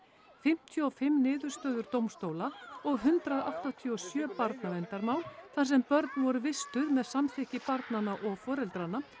fimmtíu og fimm niðurstöður dómstóla og hundrað áttatíu og sjö barnaverndarmál þar sem börn voru vistuð með samþykki barnanna og foreldranna